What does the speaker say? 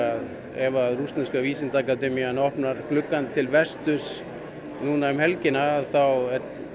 ef að rússneska opnar gluggann til vesturs núna um helgina þá